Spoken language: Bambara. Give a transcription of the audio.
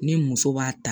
Ne muso b'a ta